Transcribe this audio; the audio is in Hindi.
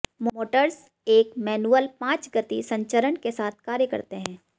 मोटर्स एक मैनुअल पांच गति संचरण के साथ कार्य करते हैं